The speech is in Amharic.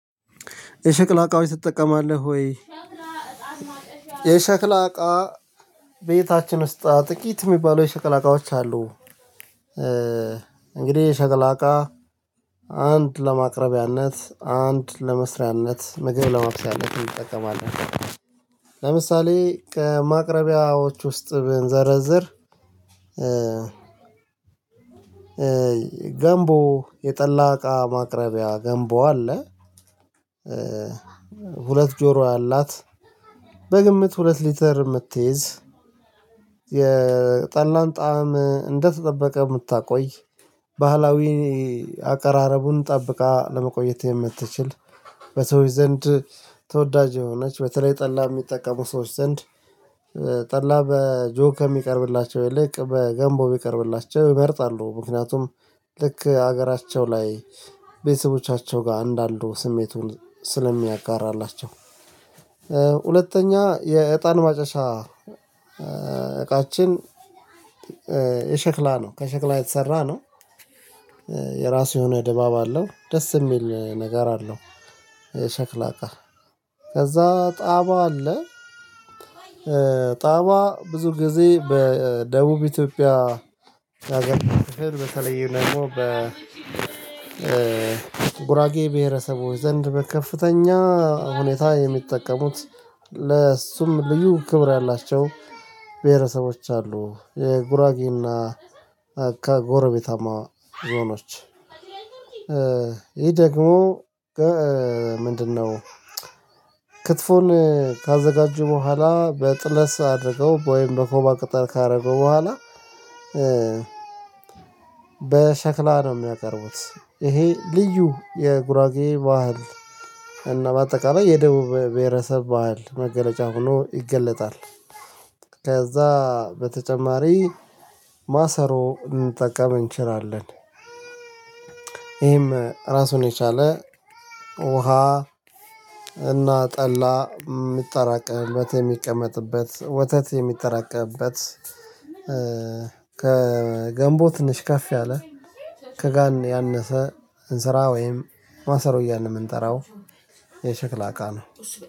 የሸክላ እቃዎች ትጠቀማለህ ወይ? የሸክላ እቃ ቤታችን ውስጥ ጥቂት የሚባሉ የሸክላ እቃዎች አሉ። እንግዲህ የሸክላ እቃ አንድ ለማቅረቢያነት አንድ ለመስሪያነት ምግብ ለመብሰያነት እንጠቀማለን። ከማቅረቢያዎች ውስጥ ብንዘረዝር። ገንቦ የጠላቃ ማቅረቢያ ገንቦ አለ። ሁለት ጆሮ አላት በግምት ሁለት ሊተር የምትይዝ የጠላን ጣዕም እንደተጠበቀ የምታቆይ ባህላዊ አቀራረቡን ጠብቃ ለመቆየት የምትችል በሰዎች ዘንድ ተወዳጅ የሆነች በተለይ ጠላ የሚጠቀሙ ሰዎች ዘንድ። ጠላ በጆክ ከሚቀርብላቸው ይልቅ በገንቦ ቢቀርብላቸው ይመርጣሉ ምክንያቱም ልክ ሀገራቸው ላይ ቤተሰቦቻቸው ጋር እንዳሉ ስሜቱን ስለሚያጋራላቸው። ሁለተኛ የእጣን ማጨሻ እቃችን። የሸክላ ነው ከሸክላ የተሰራ ነው። የራሱ የሆነ ድባብ አለው ደስ የሚል ነገር አለው። ሸክላ እቃ ከዛ ጣባ አለ። ጣቧ ብዙ ጊዜ በደቡብ ኢትዮጵያ ያገኘው በተለየ ደግሞ በ ጉራጌ ብሄረሰቦች ዘንድ በከፍተኛ ሁኔታ የሚጠቀሙት። ለሱም ልዩ ክብር ያላቸው ብሄረሰቦች አሉ። የጉራጌና አካ ጎረቤታማ ዞኖች። ይሄ ደግሞ ምንድነው? ክትፎን ከአዘጋጁ በኋላ በጥለስ አድርገው ወይም በኮባ ቅጠል ካደረጉ በኋላ። በሸክላ ነው የሚያቀርቡት። እሄ ልዩ የጉራጌ ባህል እና በአጠቃላይ የደቡብ በሔረሰብ ባህል። ከዛ በተጨማሪ ማሰሮ ልንጠቀም እችላለን። ይህም ራሱን የቻለ ውሃ እና ጠላ የሚጠራቀምበት የምቀመጥበት ወተት የሚጠራቀምበት። ከገምቦ ትንሽ ከፍ ያለ ከጋን ያለፈ ዕንስራ ወይም ማሰሮ እያለን የምንጠራው የሸክላ እቃ ነው።